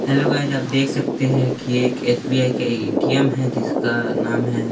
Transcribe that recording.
hello guys आप देख सकते है की ये एक एस_बी_आई का ए_टी_एम है जिसका नाम है--